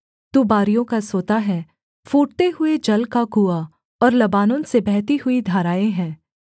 तू बारियों का सोता है फूटते हुए जल का कुआँ और लबानोन से बहती हुई धाराएँ हैं